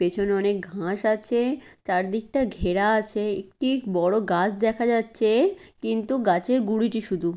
পেছনে অনেক ঘাস আছে। চারদিকটা ঘেরা আছে। একটি বড় গাছ দেখা যাচ্ছে। কিন্তু গাছের গুড়িটি শুধু--